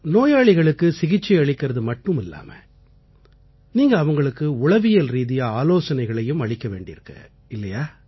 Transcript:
நோயாளிகளுக்கு சிகிச்சை அளிக்கறது மட்டுமில்லாம நீங்க அவங்களுக்கு உளவியல்ரீதியா ஆலோசனைகளையும் அளிக்க வேண்டியிருக்கு இல்லையா